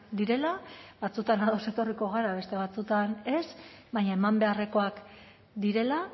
direla batzuetan ados etorriko gara beste batzuetan ez baina eman beharrekoak direla